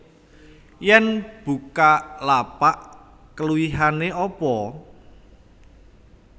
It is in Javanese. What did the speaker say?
Yen Bukalapak keluwihane opo?